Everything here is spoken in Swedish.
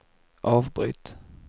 avbryt